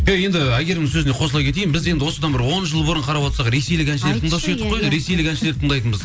иә енді әйгерімнің сөзіне қосыла кетейін біз енді осыдан бір он жыл бұрын қарап отырсақ ресейлік әншілерді тыңдаушы едік қой ресейлік әншілерді тыңдайтынбыз